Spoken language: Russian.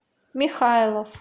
михайлов